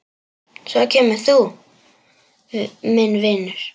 Svo kemur þú, minn vinur.